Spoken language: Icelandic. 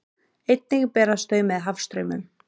Einnig berast þau með hafstraumum.